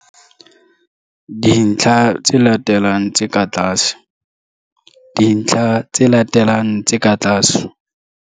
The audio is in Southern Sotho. dintlha tse latelang tse ka tlase. dintlha tse latelang tse ka tlase.